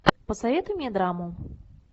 посоветуй мне драму